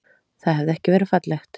Það hefði ekki verið fallegt.